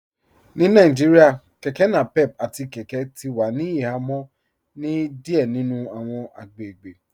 Ní Nàìjíríà kẹkẹ napep àti kẹkẹ ti wà ní ìhàmọ̀ ni díẹ̀ nínu awọn agbègbè